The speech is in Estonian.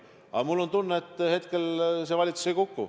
Aga mul on tunne, et praegu see valitsus ei kuku.